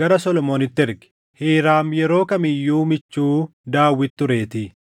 gara Solomoonitti erge; Hiiraam yeroo kam iyyuu michuu Daawit tureetii.